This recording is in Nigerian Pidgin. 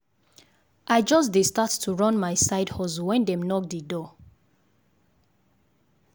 i just dey start to run my side hustle when dem knock d door.